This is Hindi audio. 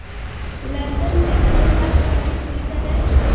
लंदन में मोहनदास गांधी पूरी तरह